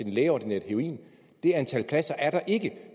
lægeordineret heroin det antal pladser er der ikke